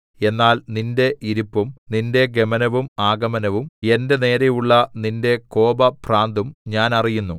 എന്നാൽ നിന്റെ ഇരിപ്പും നിന്റെ ഗമനവും ആഗമനവും എന്റെ നേരെയുള്ള നിന്റെ കോപഭ്രാന്തും ഞാൻ അറിയുന്നു